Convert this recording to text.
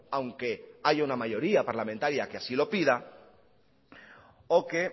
aunque haya una mayoría parlamentaria que así lo pida o que